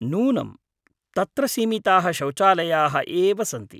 नूनम्, तत्र सीमिताः शौचालयाः एव सन्ति ।